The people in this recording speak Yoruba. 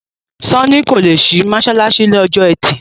Sanni kò ló sì masalasi ní Ọjọ́ Ẹti.